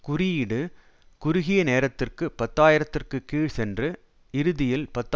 குறியீடு குறுகிய நேரத்திற்கு பத்து ஆயிரத்திற்கு கீழ் சென்று இறுதியில் பத்து